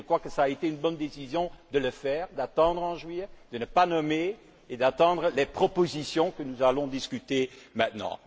Je crois que cela a été une bonne décision de le faire, d'attendre en juillet, de ne pas nommer et d'attendre les propositions que nous allons discuter maintenant.